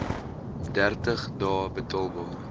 dertig dae betaalbaar